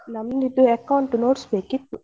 ನಮ್ದು ಇದು account notes ಬೇಕಿತ್ತು.